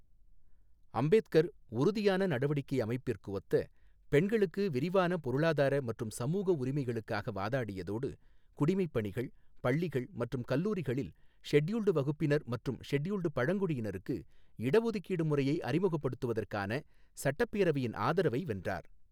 அம்பேத்கர், உறுதியான நடவடிக்கை அமைப்பிற்கு ஒத்த, பெண்களுக்கு விரிவான பொருளாதார மற்றும் சமூக உரிமைகளுக்காக வாதாடியதோடு குடிமைப் பணிகள், பள்ளிகள் மற்றும் கல்லூரிகளில் ஷெட்யூல்டு வகுப்பினர் மற்றும் ஷெட்யூல்டு பழங்குடியினருக்கு இடஒதுக்கீடு முறையை அறிமுகப்படுத்துவதற்கான சட்டப்பேரவையின் ஆதரவை வென்றார்.